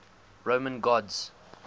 roman gods